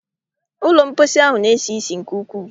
Ụlọ mposi ahụ na-esi ísì nke ukwu.